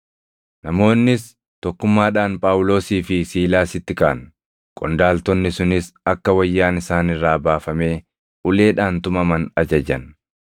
Namoonnis tokkummaadhaan Phaawulosii fi Siilaasitti kaʼan; qondaaltonni sunis akka wayyaan isaan irraa baafamee uleedhaan tumaman ajajan.